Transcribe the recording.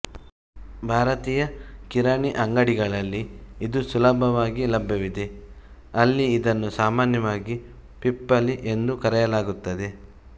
ಭಾರತೀಯಕಿರಾಣಿ ಅಂಗಡಿಗಳಲ್ಲಿ ಇದು ಸುಲಭವಾಗಿ ಲಭ್ಯವಿದೆ ಅಲ್ಲಿಇದನ್ನು ಸಾಮಾನ್ಯವಾಗಿ ಪಿಪ್ಪಲಿ ಎಂದುಕರೆಯಲಾಗುತ್ತದೆ